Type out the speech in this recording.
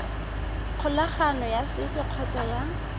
kgolagano ya setso kgotsa ya